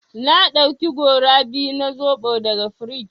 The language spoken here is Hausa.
Na ɗauki gora biyu na zoɓo daga frij.